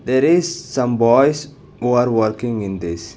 There is some boys who are working in this.